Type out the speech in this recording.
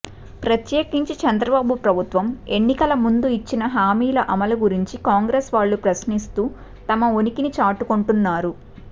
ప్రత్యేకించి చంద్రబాబు ప్రభుత్వం ఎన్నికల ముందు ఇచ్చిన హామీల అమలు గురించి కాంగ్రెస్ వాళ్లు ప్రశ్నిస్తూ తమ ఉనికిని చాటుకొంటున్నారు